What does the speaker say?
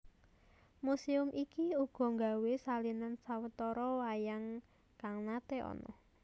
Museum iki uga nggawé salinan sawetara wayang kang nate ana